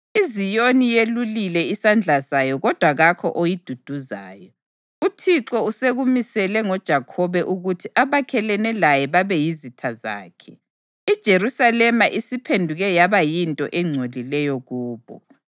IZiyoni yelulile isandla sayo kodwa kakho oyiduduzayo. UThixo usekumisile ngoJakhobe ukuthi abakhelene laye babe yizitha zakhe; iJerusalema isiphenduke yaba yinto engcolileyo kubo.